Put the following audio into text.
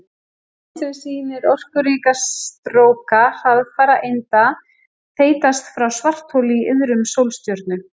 Mynd sem sýnir orkuríka stróka hraðfara einda þeytast frá svartholi í iðrum sólstjörnu.